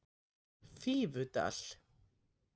Fífudal